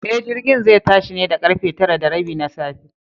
E, jirgin zai tashi ne da ƙarfe tara da rabi na safe.